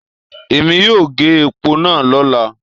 Èmi yóò gé èpò náà lọ́la